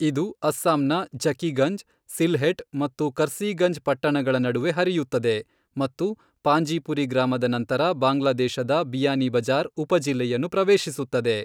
ಇದು ಅಸ್ಸಾಂನ ಝಕಿಗಂಜ್, ಸಿಲ್ಹೆಟ್ ಮತ್ತು ಕರ್ಸೀಗಂಜ್ ಪಟ್ಟಣಗಳ ನಡುವೆ ಹರಿಯುತ್ತದೆ ಮತ್ತು ಪಾಂಜೀಪುರಿ ಗ್ರಾಮದ ನಂತರ ಬಾಂಗ್ಲಾದೇಶದ ಬಿಯಾನಿ ಬಜಾರ್ ಉಪಜಿಲ್ಲೆಯನ್ನು ಪ್ರವೇಶಿಸುತ್ತದೆ.